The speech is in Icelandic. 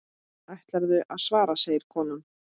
Ætlarðu að svara, segir konan.